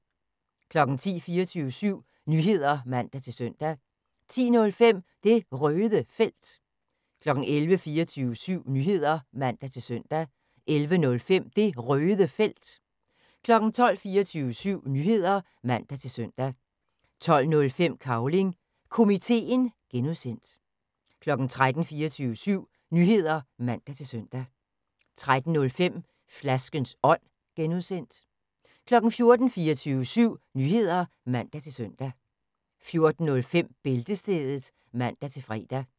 10:00: 24syv Nyheder (man-søn) 10:05: Det Røde Felt 11:00: 24syv Nyheder (man-søn) 11:05: Det Røde Felt 12:00: 24syv Nyheder (man-søn) 12:05: Cavling Komiteen (G) 13:00: 24syv Nyheder (man-søn) 13:05: Flaskens Ånd (G) 14:00: 24syv Nyheder (man-søn) 14:05: Bæltestedet (man-fre)